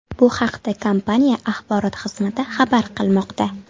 Bu haqda kompaniya axborot xizmati xabar qilmoqda .